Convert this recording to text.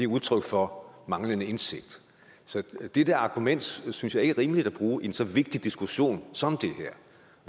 udtryk for manglende indsigt så det der argument synes jeg ikke er rimeligt at bruge i en så vigtig diskussion som